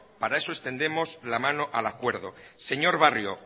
para eso extendemos la mano al acuerdo señor barrio